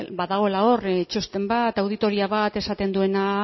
badagoela hor txosten bat auditoria bat esaten duena